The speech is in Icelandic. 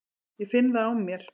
Ég finn það á mér.